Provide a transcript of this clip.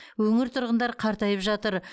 өңір тұрғындары қартайып жатыр